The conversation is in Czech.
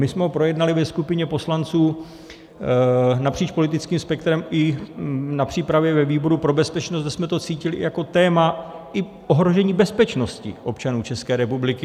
My jsme ho projednali ve skupině poslanců napříč politickým spektrem i na přípravě ve výboru pro bezpečnost, kdy jsme to cítili i jako téma ohrožení bezpečnosti občanů České republiky.